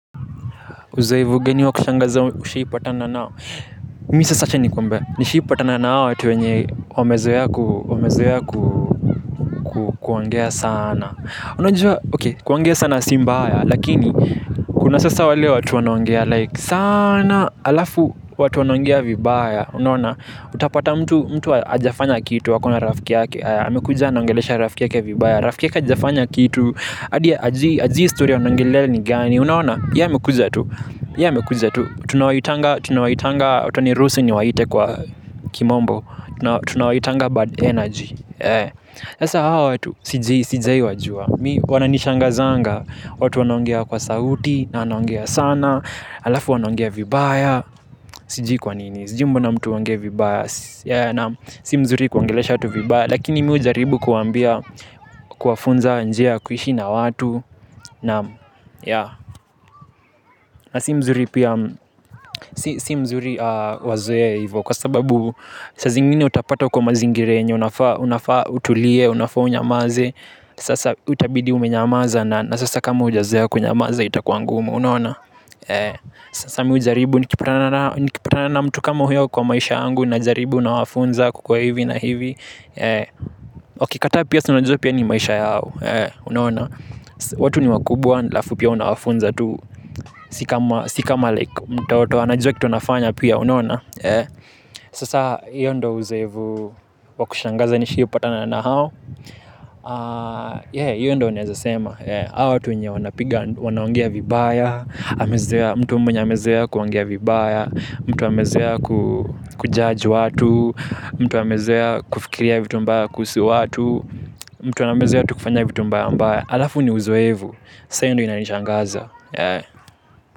Uzoefu gani wa kushangaza ushaiipatana nao. Mi sasa acha nikwambe. Nishiipatana nao watu wenye wamezoea kuongea sana. Unajua, oke, kuwangea sana si mbaya. Lakini, kuna sasa wale watu wanoangea. Like, sana alafu watu wanaongea vibaya. Unawona, utapata mtu hajafanya kitu wakona rafiki yake. Hamekuja anangelesha rafiki yake vibaya. Rafiki yake ajafanya kitu. Adia, hajui stori anaongelea ni gani. Unaona, ya amekuja tu. Ya amekuja tu, tunawaitanga, tunawaitanga, utanirusu niwaite kwa kimombo. Tunawaitanga bad energy sasa hawa watu, sijai wajua. Mi wananishangazanga, watu wanogea kwa sauti, na wanogea sana. Alafu wanogea vibaya, sijii kwanini, sijimbo na mtu wangea vibaya. Si mzuri kuangelesha tu vibaya. Lakini mi ujaribu kuwambia, kuwafunza, njia ya, kuishi na watu. Na si mzuri wazoe ivo kwa sababu sa zingine utapata uko mazingira. Unafaa utulie, unafaa unyamaze. Sasa utitabidi umenyamaza na sasa kama ujazoea kunyamaza itakuangumu. Sasa mi hujaribu nikipatana na mtu kama huyo kwa maisha yangu. Najaribu nawafunza kukuwa hivi na hivi. Okikata pia si unajua pia ni maisha yao. Watu ni wakubwa aLafu pia unawafunza tu. Sikama like anajua kitu wanafanya pia unawana. Sasa hiyo ndo uzoefu. Wa kushangaza nishaipatana na hao. Hiyo ndo naeza sema. Hawa watu wenye wanapiga wanaongea vibaya. Mtu mwenye amezoea kuongea vibaya. Mtu wamezoea kujudge watu. Mtu amezoea kufikiria vitu mbaya kuhusu watu mtu anambeza ya tukufanya vitu mbae ambaye alafu ni uzuevu sayo hindi inanichangaza.